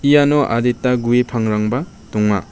iano adita gue pangrangba donga.